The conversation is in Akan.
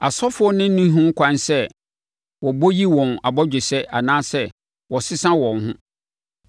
“ ‘Asɔfoɔ no nni ho kwan sɛ wɔbɔ’, yi wɔn abɔgyesɛ anaasɛ wɔsesa wɔn ho.